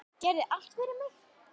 Gerðir allt fyrir mig.